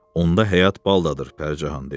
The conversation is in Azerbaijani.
Onda həyat baldaddır," Pərcahan deyirdi.